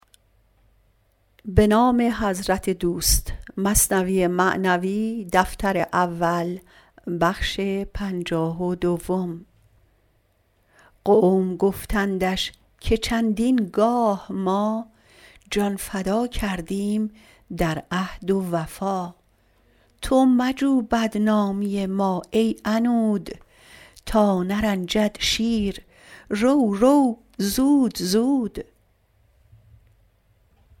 قوم گفتندش که چندین گاه ما جان فدا کردیم در عهد و وفا تو مجو بدنامی ما ای عنود تا نرنجد شیر رو رو زود زود